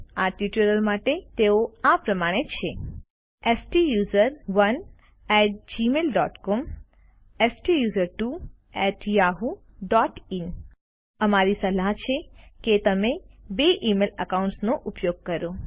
આ ટ્યુટોરીયલ માટે તેઓ આ પ્રમાણે છે સ્ટુસરોને એટી જીમેઇલ ડોટ સીઓએમ સ્ટુસર્ટવો એટી યાહૂ ડોટ ઇન અમારી સલાહ છે કે તમે બે ઇમેઇલ એકાઉન્ટ્સનો ઉપયોગ કરો